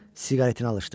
Siqaretini alışdırdılar.